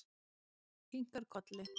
Hún kinkar kolli.